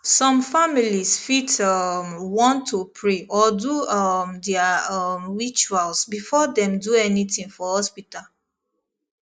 some families fit um want to pray or do um their um rituals before dem do anything for hospital